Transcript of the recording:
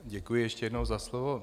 Děkuji ještě jednou za slovo.